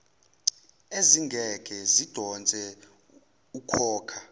ezingeke zidonse ukhokha